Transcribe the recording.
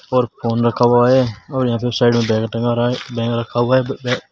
और फोन रखा हुआ है और यहां पे साइड में बैग टंगा रहा है बैग रखा हुआ है बे बैग --